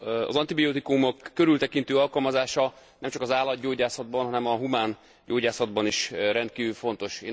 Az antibiotikumok körültekintő alkalmazása nem csak az állatgyógyászatban, hanem a humán gyógyászatban is rendkívül fontos.